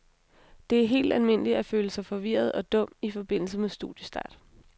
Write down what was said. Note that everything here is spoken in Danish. Det er helt almindeligt at føle sig forvirret og dum i forbindelse med studiestart.